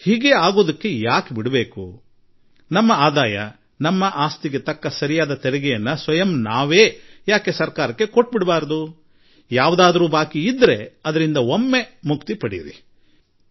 ನಾವು ಏಕೆ ಅದಕ್ಕೆ ಅವಕಾಶ ಕೊಡಬೇಕು ನಾವೇಕೆ ಸ್ವತಃ ನಮ್ಮ ಆದಾಯ ಕುರಿತಂತೆ ನಮ್ಮ ಆಸ್ತಿ ಕುರಿತಂತೆ ಸರ್ಕಾರಕ್ಕೆ ಸತ್ಯ ಸಂಗತಿ ವಿವರ ಕೊಟ್ಟುಬಿಡಬಾರದು ಯಾವುದು ಹಳೇ ಬಾಕಿ ಇದೆಯೋ ಅದರಿಂದಲೂ ಮುಕ್ತರಾಗಿಬಿಡೋಣ